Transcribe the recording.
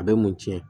A bɛ mun tiɲɛ